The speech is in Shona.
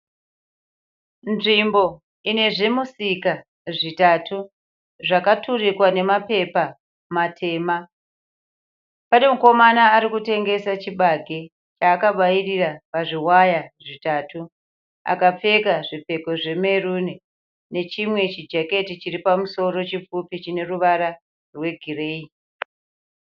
Nzvimbo ine zvimusika zvitatu. Zvakaturikwa nemapepa matema. Pane mukomana arikutengesa chibage chaakabairira pazviwayà zvitatu, akapfeka zvipfeko zvemeruni nechimwe chijaketi chiri pamusoro chipfupi chine ruvara rwe gireyi.